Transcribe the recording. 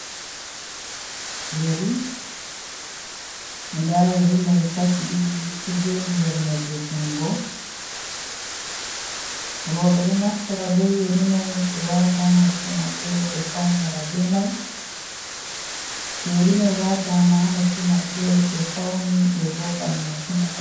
Yeeri, da yeeri mai kashi didi do joodi nder nemre jungo rouɓe do naftira be yeeri mai be waata ha noppi maɓɓe ɓe faunira be mai too yeeri mai waataama ha noppi maɓɓe be fauni be vodan masin.